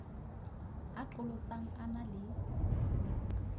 a qholotsang a na le